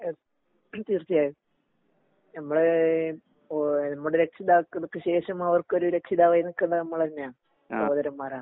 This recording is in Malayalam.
എന് തീർച്ചയായും ഞമ്മള് നമ്മുടെ രക്ഷിതാക്കൾക്ക് ശേക്ഷം അവർക്കൊരു രക്ഷിതാവായി നിക്കേണ്ടത് നമ്മള് തന്നെയാ സഹോദരന്മാരാ.